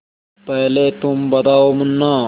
पहले तुम बताओ मुन्ना